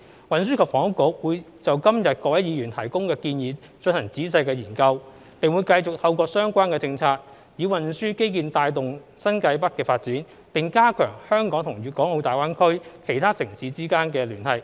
運輸及房屋局會就今日各位議員提供的建議進行仔細研究，並會繼續透過相關政策，以運輸基建帶動新界北發展，並加強香港與大灣區其他城市間的聯繫。